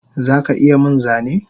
Zaka iya min Zane?